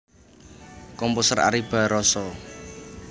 Composer Ary Barroso